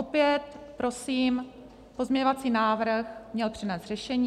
Opět prosím, pozměňovací návrh měl přinést řešení.